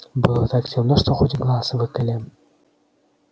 было так темно что хоть глаз выколи